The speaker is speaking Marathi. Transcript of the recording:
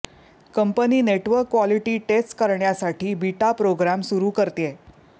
कंपनी नेटवर्क क्वालिटी टेस्ट करण्यासाठी बीटा प्रोग्राम सुरू करतेय